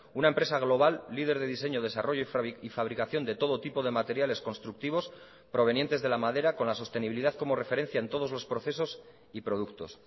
una empresa global líder de diseño desarrollo y fabricación de todo tipo de materiales constructivos provenientes de la madera con la sostenibilidad como referencia en todos los procesos y productos